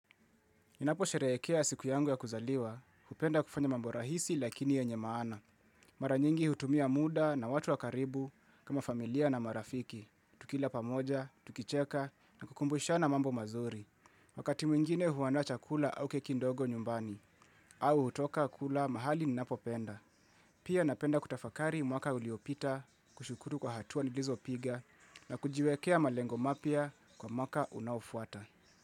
Ninaposherehekea siku yangu ya kuzaliwa, hupenda kufanya mambo rahisi lakini yenye maana. Mara nyingi hutumia muda na watu wa karibu kama familia na marafiki. Tukila pamoja, tukicheka na kukumbushana mambo mazuri. Wakati mwingine huandaa chakula au keki ndogo nyumbani, au hutoka kula mahali ninapopenda. Pia napenda kutafakari mwaka uliopita, kushukuru kwa hatua nilizopiga, na kujiwekea malengo mapya kwa mwaka unaofuata.